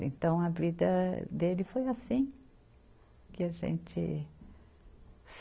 Então, a vida dele foi assim. Que a gente